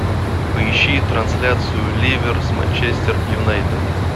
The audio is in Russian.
поищи трансляцию ливер с манчестер юнайтед